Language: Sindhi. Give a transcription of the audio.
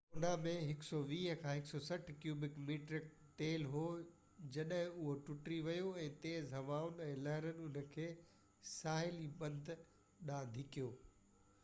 لونو ۾ 120–160 ڪيوبڪ ميٽر تيل هو جڏهن اهو ٽٽي ويو ۽ تيز هوائن ۽ لهرن ان کي ساحلي بند ڏانهن ڌڪيو